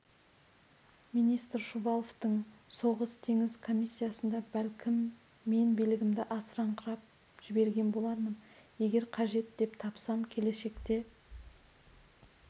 министр шуваловтың соғыс-теңіз комиссиясында бәлкім мен билігімді асырыңқырап жіберген болармын егер қажет деп тапсам келешекте